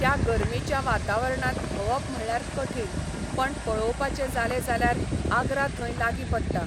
त्या गर्मेच्या वातावरणांत भोंवप म्हळ्यार कठीण, पण पळोवपाचें जालें जाल्यार आग्रा थंय लागीं पडटा.